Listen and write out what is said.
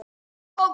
Já, ég veit